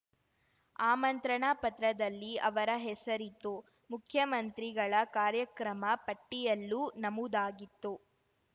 ಆಮಂತ್ರಣ ಪತ್ರದಲ್ಲಿ ಅವರ ಹೆಸರಿತ್ತು ಮುಖ್ಯಮಂತ್ರಿಗಳ ಕಾರ್ಯಕ್ರಮ ಪಟ್ಟಿಯಲ್ಲೂ ನಮೂದಾಗಿತ್ತು